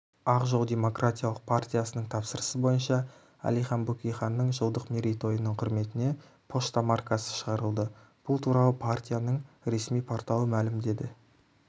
ақ жол демократиялық партиясының тапсырысы бойынша әлихан бөкейханның жылдық мерейтойының құрметіне пошта маркасы шығарылды бұл туралы партияның ресми порталы мәлімдеді